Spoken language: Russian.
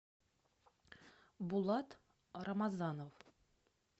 булат рамазанов